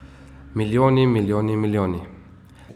Milijoni, milijoni, milijoni!